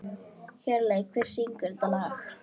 Hjörleif, hver syngur þetta lag?